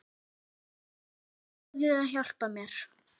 Þú verður að hjálpa mér.